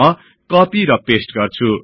म कपि र पेस्ट गर्छु